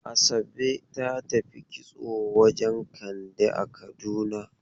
Asabe ta tafi kitso wajen Kande a Kaduna.